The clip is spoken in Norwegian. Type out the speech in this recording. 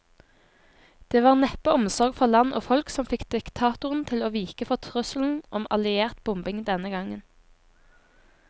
Det var neppe omsorg for land og folk som fikk diktatoren til å vike for trusselen om alliert bombing denne gang.